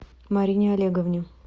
марине олеговне